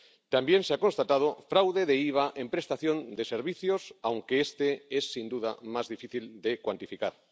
También se ha constatado fraude de IVA en prestación de servicios, aunque este es, sin duda, más difícil de cuantificar.